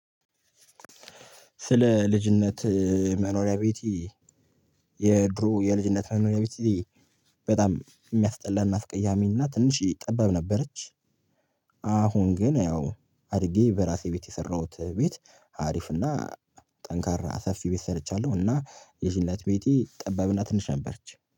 ስለ ልጅነት መኖሪያ ቤቲ የድሮ የልጅነት መኖሪያ ቤቴ በጣም የሚያስጠላና አስቀያሚና ትንሼ ጠባብ ነበረች። አሁን ግን ያው አድርጌ በራሴ ቤት የሰራሁት ቤት አሪፍ እና ጠንካራ ሰፊ ቤት ሰርቻለሁ። እና የዚህን እለት ቤቴ ጠባብና ትንሽ ነበረች